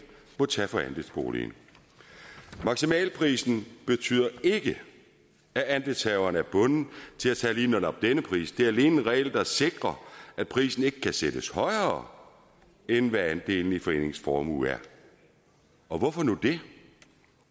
må tage for andelsboligen maksimalprisen betyder ikke at andelshaverne er bundet til at tage lige netop denne pris det er alene en regel der sikrer at prisen ikke kan sættes højere end hvad andelen i foreningens formue er og hvorfor nu det